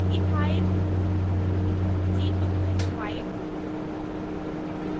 ethyl ethyl c2h5